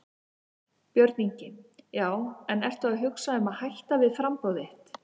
Björn Ingi: Já en ertu að hugsa um að hætta við framboðið þitt?